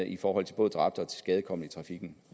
i forhold til både dræbte og tilskadekomne i trafikken